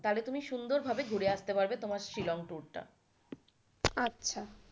তাহলে তুমি সুন্দর ভাবে ঘুরে আসতে পারবে তোমার শিলং tour টা। আচ্ছা.